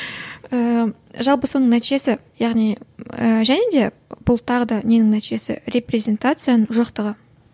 ыыы жалпы соның нәтижесі яғни ы және де бұл тағы да ненің нәтижесі репрезентацияның жоқтығы